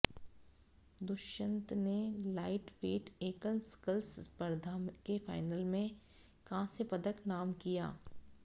दुष्यंत ने लाइटवेट एकल स्कल्स स्पर्धा के फाइनल में कांस्य पदक नाम किया